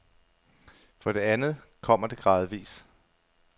For det andet kommer det gradvis.